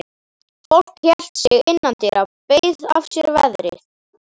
Fólk hélt sig innandyra, beið af sér veðrið.